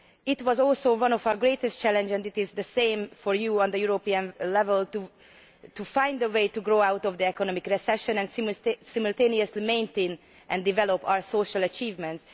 It was also one of our greatest challenges and it is the same for you at European level to find a way to grow out of the economic recession and simultaneously maintain and develop our social achievements.